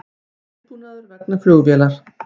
Viðbúnaður vegna flugvélar